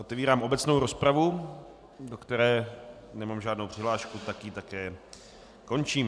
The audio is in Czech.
Otevírám obecnou rozpravu, do které nemám žádnou přihlášku, tak ji také končím.